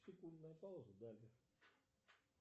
секундная пауза далее